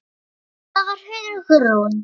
Það var Hugrún!